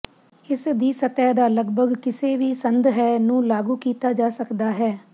ਇਸ ਦੀ ਸਤਹ ਦਾ ਲੱਗਭਗ ਕਿਸੇ ਵੀ ਸੰਦ ਹੈ ਨੂੰ ਲਾਗੂ ਕੀਤਾ ਜਾ ਸਕਦਾ ਹੈ